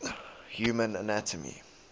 human anatomy